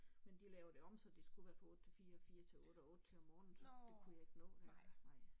Men de lavede det om så det skulle være fra 8 til 4 4 til 8 og 8 til om morgenen så det kunne jeg ikke nå længere nej